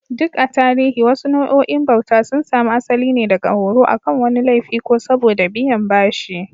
Duk a tarihi, wasu nau'o'in bauta sun samu asali ne daga horo akan wani laifi ko saboda biyan bashi.